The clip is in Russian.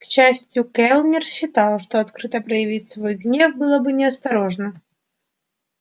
к счастью кэллнер считал что открыто проявить свой гнев было бы неосторожно